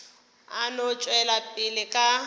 a no tšwela pele ka